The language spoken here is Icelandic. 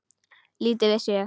Lítið vissi ég.